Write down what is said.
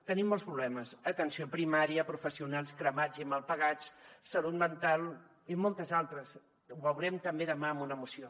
tenim molts problemes atenció primària professionals cremats i mal pagats salut mental i molts altres ho veurem també demà en una moció